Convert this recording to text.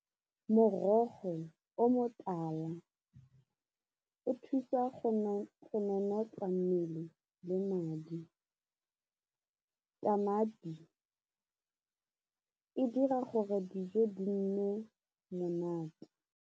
Morogo o motala o thusa go nanatla mmele le madi, tamati e dira gore dijo di nne monate.